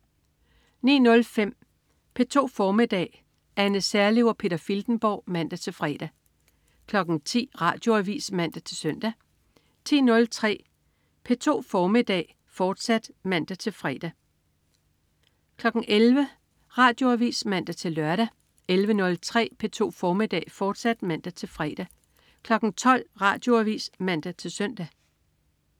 09.05 P2 formiddag. Anne Serlev og Peter Filtenborg (man-fre) 10.00 Radioavis (man-søn) 10.03 P2 formiddag, fortsat (man-fre) 11.00 Radioavis (man-lør) 11.03 P2 formiddag, fortsat (man-fre) 12.00 Radioavis (man-søn)